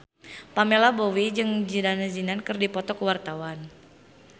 Pamela Bowie jeung Zidane Zidane keur dipoto ku wartawan